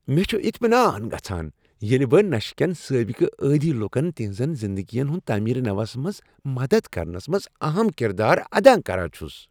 مےٚ چھ اطمینان گژھان ییلِہ بہٕ نشہٕ کین سابقہٕ عٲدی لُکن تہنزن زندگین ہٕنز تعمیر نووَس منز مدد کرنس منز اہم کردار ادا کران چھس۔